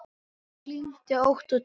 Hún kyngdi ótt og títt.